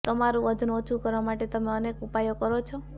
તમારું વજન ઓછું કરવા માટે તમે અનેક ઉપાયો કરો છો